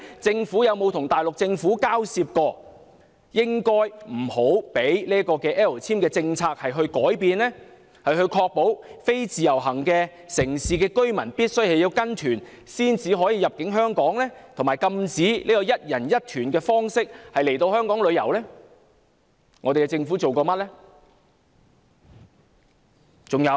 政府曾否與大陸政府交涉，不應改變 "L 簽"政策，以確保非自由行城市的居民必須跟團才可入境香港，以及禁止以"一人一團"的方式來香港旅遊呢？